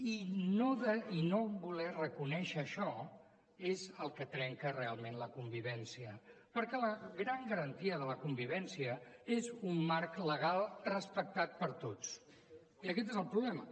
i no voler reconèixer això és el que trenca realment la convivència perquè la gran garantia de la convivència és un marc legal respectat per tots i aquest és el problema